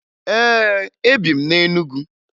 Ee, ebi m na Enugu